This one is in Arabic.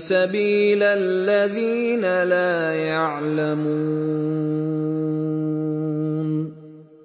سَبِيلَ الَّذِينَ لَا يَعْلَمُونَ